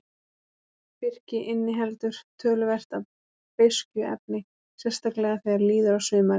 Birki inniheldur töluvert af beiskjuefni, sérstaklega þegar líður á sumarið.